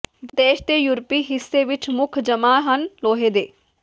ਦੇਸ਼ ਦੇ ਯੂਰਪੀ ਹਿੱਸੇ ਵਿਚ ਮੁੱਖ ਜਮ੍ਹਾ ਹਨ ਲੋਹੇ ਦੇ